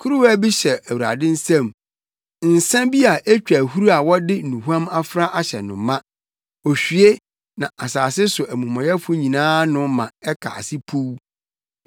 Kuruwa bi hyɛ Awurade nsam nsa bi a etwa ahuru a wɔde nnuhuam afra ahyɛ no ma; ohwie, na asase so amumɔyɛfo nyinaa nom ma ɛka ase puw.